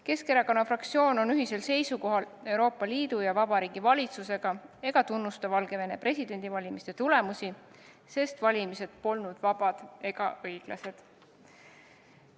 Keskerakonna fraktsioon on Euroopa Liidu ja Vabariigi Valitsusega ühisel seisukohal ega tunnusta Valgevene presidendivalimiste tulemusi, sest valimised polnud vabad ega õiglased.